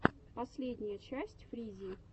последняя часть фризи